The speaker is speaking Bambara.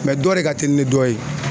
dɔ de ka telin ni dɔ ye.